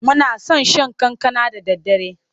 Muna son shan kankana da daddare.